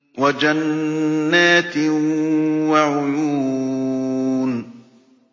وَجَنَّاتٍ وَعُيُونٍ